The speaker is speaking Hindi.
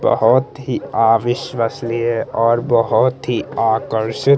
बहोत ही अविश्वसनीय और बहोत ही आकर्षित --